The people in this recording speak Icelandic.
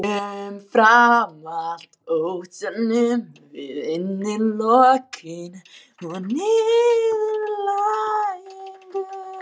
En umfram allt óttanum við innilokun og niðurlægingu.